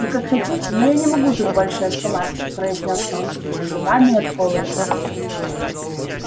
вы как хотите но я не могу тут больше оставаться произнёс рон стуча зубами от холода